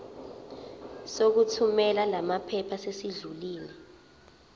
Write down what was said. sokuthumela lamaphepha sesidlulile